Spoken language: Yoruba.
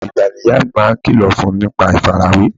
Gbogbo ìgbà ni ìyá mi máa ń kìlọ̀ fún ní nípa ìfarawé